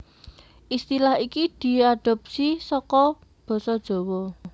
Istilah iki diadhopsi saka basa Jawa